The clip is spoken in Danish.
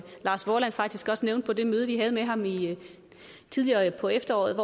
lars vorland faktisk også nævnte på det møde vi havde med ham tidligere på efteråret